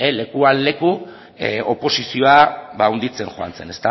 lekuan leku oposizioa handitzen joan zen